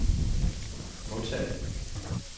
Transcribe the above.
modtag